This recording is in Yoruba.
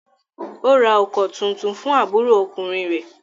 Ó ra ọkọ̀ tuntun fún àbúrò ọkùnrin rẹ̀?